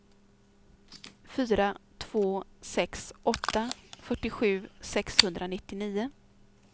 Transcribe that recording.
fyra två sex åtta fyrtiosju sexhundranittionio